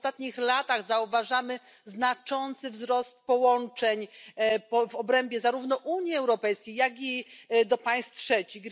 W ostatnich latach zauważamy znaczący wzrost połączeń w obrębie zarówno Unii Europejskiej, jak i do państw trzecich.